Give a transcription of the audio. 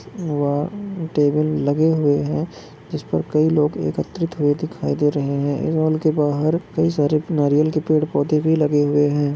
वहा टेबल लगे हुए है जिस पर कई लोग एकत्रित हुए दिखाई दे रहे है हॉल के बाहर कही सारे नारियल के पेड़ पौधे भी लगे हुए है।